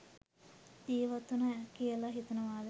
ජීවත්වුණා කියලා හිතනවද?